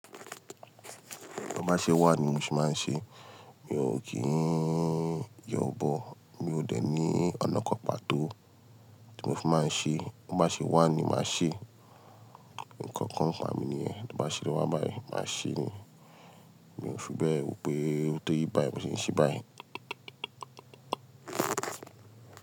To bá ṣe wà ní mo se máa ń ṣe, mi ò kí ń yanbọ̀, mi ò dẹ̀ ní ọ̀nà kan pàtó tí mo fi máa ń ṣe. To bá ṣe wà ni màá ṣe, ǹkankan kà mi ni ẹ́, tí ó bá ṣe wà báyìí, màá ṣe ni, mi ò fi bẹ́ẹ̀ woo pé tó rí báyìí, ni mo se ń ṣe báyìí.